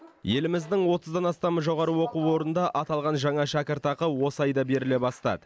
еліміздің отыздан астам жоғары оқу орнында аталған жаңа шәкіртақы осы айда беріле бастады